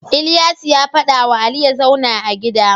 Ilyasu ya fada wa Ali yazauna a gida